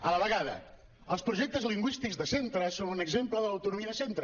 a la vegada els projectes lingüístics de centre són un exemple de l’autonomia de centre